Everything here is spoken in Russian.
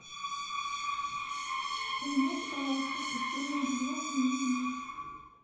поменяйте пожалуйста постельное белье в моем номере